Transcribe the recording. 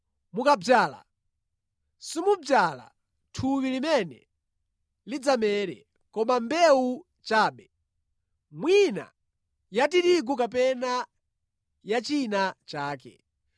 Mukadzala, simudzala thupi limene lidzamere, koma mbewu chabe, mwina ya tirigu kapena ya china chake.